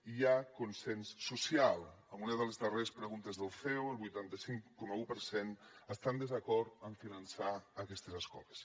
i hi ha consens social en una de les darreres preguntes del ceo el vuitanta cinc coma un per cent està en desacord amb finançar aquestes escoles